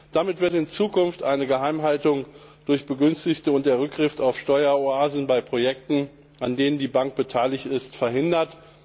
Damit werden in Zukunft eine Geheimhaltung durch Begünstigte und der Rückgriff auf Steueroasen bei Projekten, an denen die Bank beteiligt ist, verhindert.